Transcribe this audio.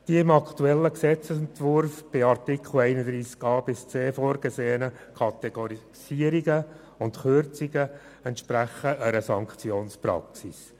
Die im aktuellen Gesetzesentwurf in den Artikeln 31a bis 31c vorgesehenen Kategorisierungen und Kürzungen entsprechen einer Sanktionspraxis.